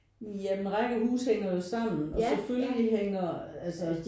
Ja men rækkehuse hænger jo sammen og selvfølgelig hænger altså